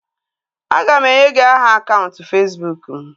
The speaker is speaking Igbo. A ga m enye gị aha akaụntụ Fesbụụk m